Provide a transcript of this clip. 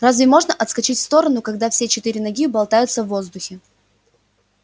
разве можно отскочить в сторону когда все четыре ноги болтаются в воздухе